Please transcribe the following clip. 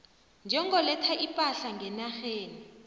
njengoletha ipahla ngenarheni